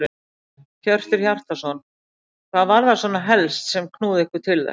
Hjörtur Hjartarson: Hvað var það svona helst sem að knúði ykkur til þess?